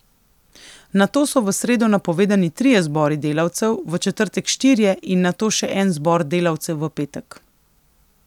Nato so v sredo napovedani trije zbori delavcev, v četrtek štirje in nato še en zbor delavcev v petek.